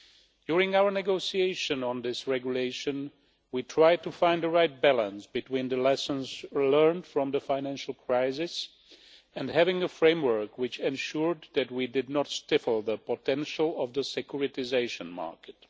During our negotiations on this regulation, we tried to find the right balance between the lessons learned from the financial crisis and having a framework which ensured that we did not stifle the potential of the securitisation market.